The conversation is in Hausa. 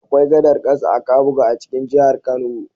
Akwai gadar ƙasa a Kabuga a cikin jihar Kano.